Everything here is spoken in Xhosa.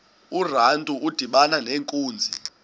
urantu udibana nenkunzi